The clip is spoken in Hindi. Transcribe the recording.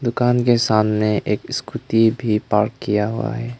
दुकान के सामने एक स्कूटी भी पार्क किया हुआ है।